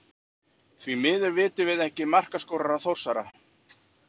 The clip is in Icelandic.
Því miður vitum við ekki markaskorara Þórsara.